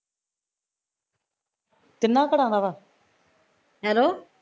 ਤਿੰਨਾ ਘਰਾਂ ਦਾ ਵਾ